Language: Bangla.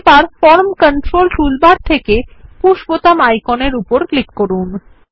এবার ফরম কন্ট্রোল টুলবার থেকে পুশ বাটন আইকনের উপর ক্লিক করুন